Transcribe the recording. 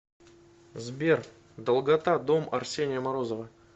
сбер долгота дом арсения морозова